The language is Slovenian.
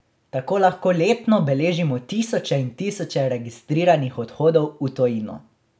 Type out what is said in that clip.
Tako lahko letno beležimo tisoče in tisoče registriranih odhodov v tujino.